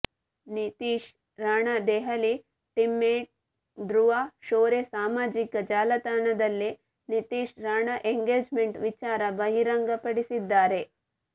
Nitish Rana Delhi teammate Dhruv Shorey ಸಾಮಾಜಿಕ ಜಾಲತಾಣದಲ್ಲಿ Nitish Rana engagement ವಿಚಾರ ಬಹಿರಂಗ ಪಡಿಸಿದ್ದಾರೆ